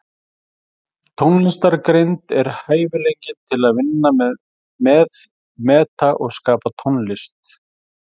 Tónlistargreind er hæfileikinn til að vinna með, meta og skapa tónlist.